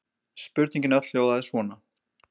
Spurningin öll hljóðaði svona: